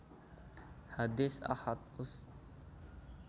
Hadits Ahad Ust